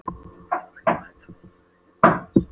Hann var fjárhundur og ég var hjörðin hans.